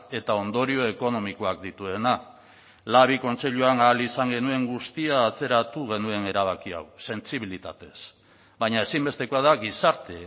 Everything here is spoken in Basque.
eta ondorio ekonomikoak dituena labi kontseiluan ahal izan genuen guztia atzeratu genuen erabakia hau sentsibilitatez baina ezinbestekoa da gizarte